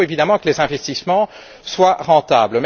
Il faut évidemment que les investissements soient rentables.